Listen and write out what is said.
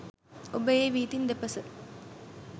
ඔබ ඒ වීථීන් දෙපස